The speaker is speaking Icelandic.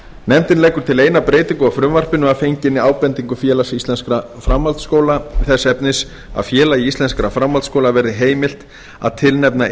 nefndin leggur til eina breytingu á frumvarpinu að fenginni ábendingu félags íslenskra framhaldsskóla þess efnis að félagi íslenskra framhaldsskóla verði heimilt að tilnefna